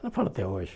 Ela fala até hoje.